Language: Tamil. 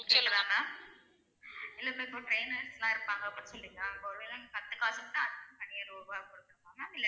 கேக்குதா ma'am இல்ல ma'am இப்ப trainers லாம் இருப்பாங்க அப்படின்னு சொல்றிங்கல நாங்க ஒரு வேல நாங்க கத்துக்க ஆசப் பட்டா அதுக்கும் தனியா ரூபா கொடுக்கணுமா ma'am